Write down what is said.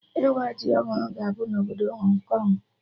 Ịwa ji ọhụrụ ga-abụ na obodo Hong Kong